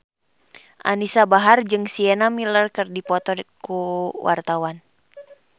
Anisa Bahar jeung Sienna Miller keur dipoto ku wartawan